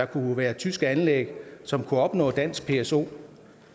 kunne være tyske anlæg som kunne opnå dansk pso